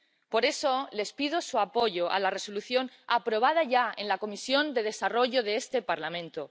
Por eso les pido su apoyo a la Resolución, aprobada ya en la Comisión de Desarrollo de este Parlamento.